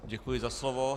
Děkuji za slovo.